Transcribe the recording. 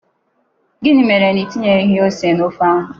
Gịnị mere na Ị tinyeghị ose n'ofe ahụ?